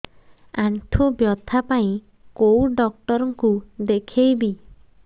ଆଣ୍ଠୁ ବ୍ୟଥା ପାଇଁ କୋଉ ଡକ୍ଟର ଙ୍କୁ ଦେଖେଇବି